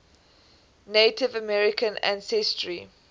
native american ancestry